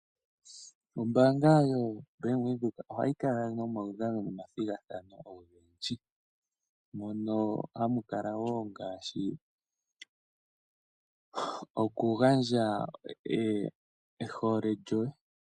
Ombaanga yoBank Windhoek ohayi kala nomaudhano nomathigathano ogendji. Mono hamu kala wo ngaashi okugandja ehole lyoye.